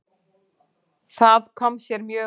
Það kom sér mjög vel.